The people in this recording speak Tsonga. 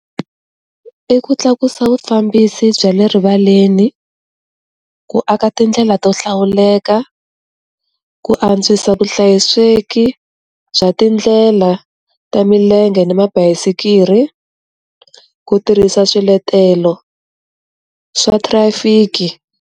I ku tlakusa vufambisi bya le rivaleni, ku aka tindlela to hlawuleka, ku antswisa vuhlayiseki bya tindlela ta milenge ni mabayisikiri, ku tirhisa swiletelo, swa trafic.